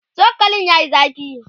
chokalin yayi zafi